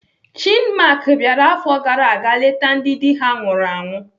Chinmark bịara afọ gara aga leta ndị dị ha nwụrụ anwụ.